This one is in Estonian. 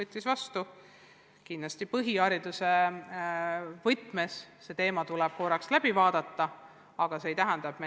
Kindlasti tuleb põhihariduse võtmes see teema veel kord läbi arutada.